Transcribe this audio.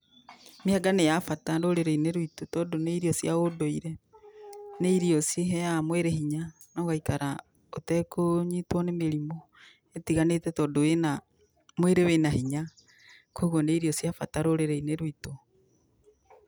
Mĩanga nĩ ya bata rũrĩrĩ-inĩ rwitũ tondũ nĩ irio cia ũndũire, nĩ irio cĩheaga mwĩrĩ hinya na ũgaĩkara ũtekũnyitwo nĩ mĩrimũ ĩtiganĩte tondũ wĩna, mwĩrĩ wĩna hinya kogwo nĩ irio cia bata rũrĩrĩ-inĩ rwitũ.